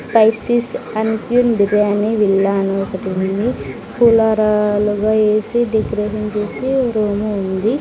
Spices uncle biryani villa అని ఒకటి ఉంది కూలర్ ల ఏసీ వేసీ డిఫరెంట్ గా వచ్చేసి రూము ఉంది.